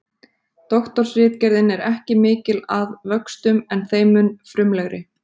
Doktorsritgerðin er ekki mikil að vöxtum en þeim mun frumlegri.